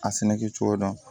A sɛnɛkɛ cogo dɔn